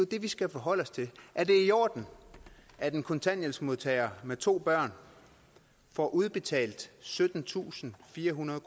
det vi skal forholde os til er det i orden at en kontanthjælpsmodtager med to børn får udbetalt syttentusinde og firehundrede